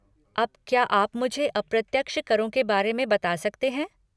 अब क्या आप मुझे अप्रत्यक्ष करों के बारे में बता सकते हैं?